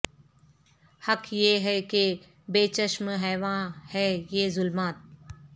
حق یہ ہے کہ بے چشم حیواں ہے یہ ظلمات